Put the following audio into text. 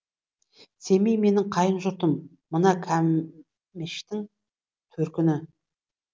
семей менің қайын жұртым мына кәмештің төркіні